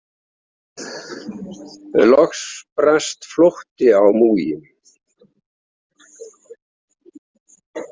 Loks brast flótti á múginn.